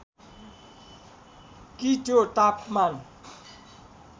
कि त्यो तापमान